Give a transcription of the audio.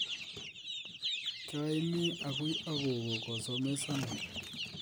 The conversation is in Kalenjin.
kiaaimii agui ak gogo koosomesiana